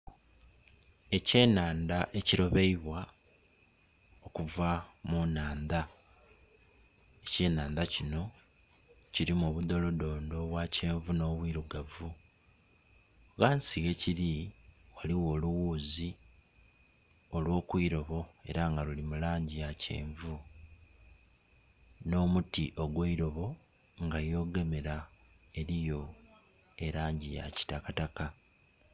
Ekyenhandha ekilobeibwa okuva mu nhandha, ekyenhandha kino kirimu obudolodondo obwa kyenvu nh'obwirugavu ghansi ghekiri ghaliwo olughuzi olw'oku ilobo era nga luli mu langi ya kyenvu. Nh'omuti ogw'eilobo nga yogemera eriyo elangi yakitakataka.